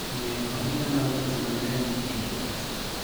Omiyo ohinga mag leche mag remo e del kuot.